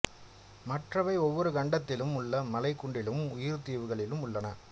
மற்றவை ஒவ்வொரு கண்டத்திலும் உள்ள மலை குன்றுகளிலும் உயர் தீவுகளிலும் உள்ளன